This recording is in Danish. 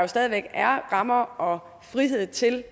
stadig væk er rammer og frihed til